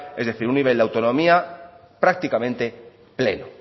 es decir un nivel de autonomía prácticamente pleno